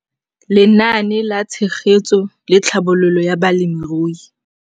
Lenaane la Tshegetso le Tlhabololo ya Balemirui